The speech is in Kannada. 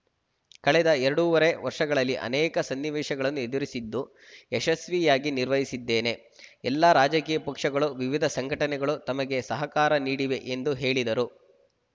ಕಳೆದ ಎರಡೂವರೆ ವರ್ಷಗಳಲ್ಲಿ ಅನೇಕ ಸನ್ನಿವೇಶಗಳನ್ನು ಎದುರಿಸಿದ್ದು ಯಶಸ್ವಿಯಾಗಿ ನಿರ್ವಹಿಸಿದ್ದೇನೆ ಎಲ್ಲ ರಾಜಕೀಯ ಪಕ್ಷಗಳು ವಿವಿಧ ಸಂಘಟನೆಗಳು ತಮಗೆ ಸಹಕಾರ ನೀಡಿವೆ ಎಂದು ಹೇಳಿದರು